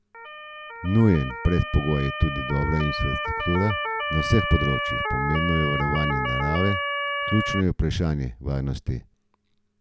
Nujen predpogoj je tudi dobra infrastruktura na vseh področjih, pomembno je varovanje narave, ključno je vprašanje varnosti.